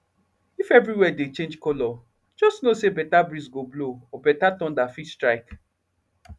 if everywhere dey change color just know say better breeze go blow or better thunder fit strike